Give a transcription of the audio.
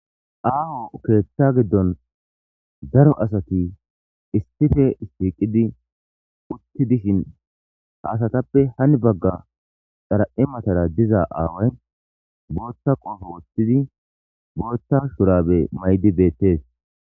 Aho keetha gidon dare asati essppe shiqidi uti ha asatappe heni bagara xaraphe matara dizza away botha qobbe wothid botha shurabe mayidi bettes.